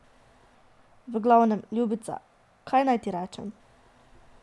V glavnem, ljubica, kaj naj ti rečem?